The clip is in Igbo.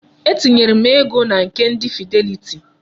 Etinyere m ego na nke ndi Fidelity.